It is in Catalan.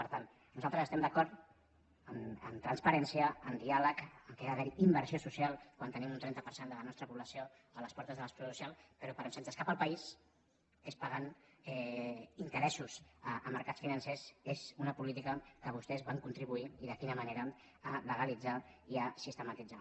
per tant nosaltres estem d’acord amb transparència amb diàleg que hi ha d’haver inversió social quan tenim un trenta per cent de la nostra població a les portes de l’exclusió social però per on se’ns escapa el país que és pagant interessos a mercats financers és una política que vostès van contribuir i de quina manera a legalitzar i a sistematitzar